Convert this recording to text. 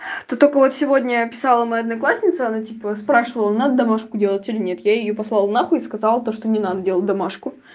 ты только вот сегодня писала моя одноклассница она типа спрашивала домашку делать или нет я её послала нахуй сказал то что не надо делать домашку